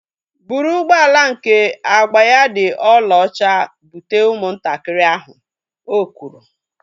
Bụrụ ụgbọala nke agba ya dị olaocha bute ụmụ ntakịrị ahu! Ọ kwụrụ